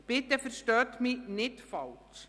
Bitte verstehen Sie mich nicht falsch: